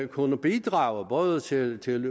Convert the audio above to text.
kunne bidrage både til til